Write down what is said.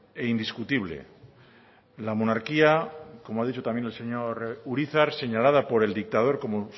e indiscutible la monarquía como ha dicho también el señor urizar señalada por el dictador como